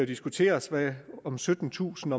diskuteres om syttentusind